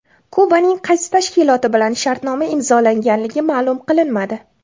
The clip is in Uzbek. Kubaning qaysi tashkiloti bilan shartnoma imzolanganligi ma’lum qilinmadi.